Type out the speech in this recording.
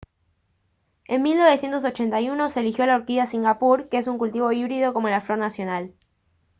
en 1981 se eligió a la orquídea de singapur que es un cultivo híbrido como la flor nacional